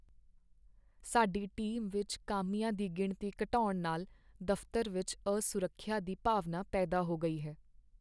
ਸਾਡੀ ਟੀਮ ਵਿਚ ਕਾਮਿਆਂ ਦੀ ਗਿਣਤੀ ਘਟਾਉਣ ਨਾਲ ਦਫ਼ਤਰ ਵਿੱਚ ਅਸੁਰੱਖਿਆ ਦੀ ਭਾਵਨਾ ਪੈਦਾ ਹੋ ਗਈ ਹੈ।